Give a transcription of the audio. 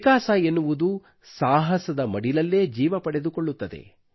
ವಿಕಾಸ ಎನ್ನುವುದು ಸಾಹಸದ ಮಡಿಲಲ್ಲೇ ಜೀವ ಪಡೆದುಕೊಳ್ಳುತ್ತದೆ